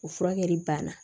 O furakɛli banna